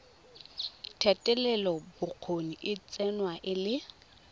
thetelelobokgoni e tsewa e le